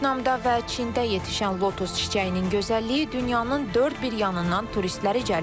Vyetnamda və Çində yetişən lotus çiçəyinin gözəlliyi dünyanın dörd bir yanından turistləri cəlb edir.